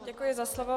Děkuji za slovo.